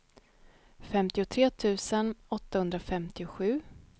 femtiotre tusen åttahundrafemtiosju